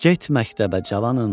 Get məktəbə cavanım.